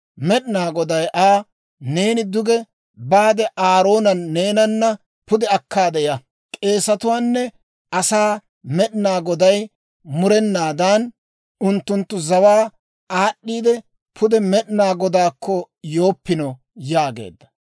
Med'inaa Goday Aa, «Neeni duge baade Aaroona neenana pude akkaade ya. K'eesetuwaanne asaa Med'inaa Goday murenaadan, unttunttu zawaa aad'd'iidde pude Med'inaa Godaakko yooppino» yaageedda.